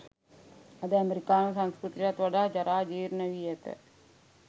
අද ඇමෙරිකානු සංස්කෘතියටත් වඩා ජරා ජීර්ණ වී ඇත.